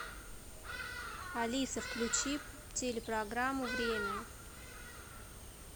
алиса включи телепрограмму время